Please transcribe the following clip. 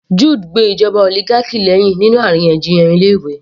Jude gbe ìjọba oligarchy lẹ́hìn nínú àríyànjiyàn ilé ìwé